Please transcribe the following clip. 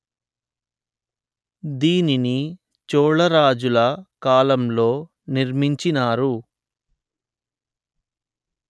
దీనిని చోళరాజుల కాలంలో నిర్మించినారు